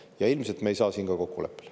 Ja ilmselt me ei saa siin kokkuleppele.